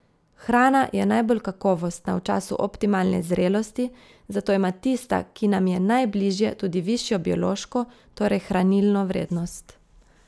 Hrana je najbolj kakovostna v času optimalne zrelosti, zato ima tista, ki nam je najbližje, tudi višjo biološko, torej hranilno vrednost.